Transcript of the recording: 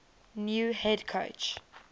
new head coach